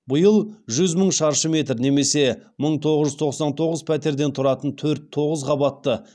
биыл жүз мың шаршы метр немесе мың тоғыз жүз тоқсан тоғыз пәтерден тұратын төрт тоғыз қабатты